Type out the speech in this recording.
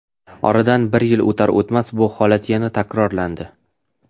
Oradan bir yil o‘tar-o‘tmas, bu holat yana takrorlandi.